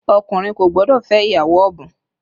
Ọkùnrin kò gbọ́dọ̀ fẹ́ ìyàwó ọ̀bùn